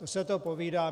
To se to povídá.